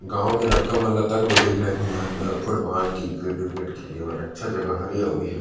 गाँव के लड़का मन ल तक लेगेल लगही इहाँ क फुटबॉल क्रिकेट उरकेट खेले बर अच्छा जगह हरे अऊ एहा--